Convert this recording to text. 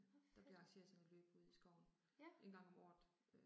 Okay. Ja